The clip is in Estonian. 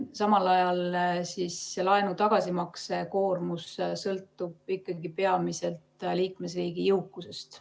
Samal ajal sõltub laenu tagasimaksmise koormus ikkagi peamiselt liikmesriigi jõukusest.